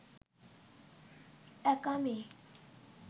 একা মেয়ে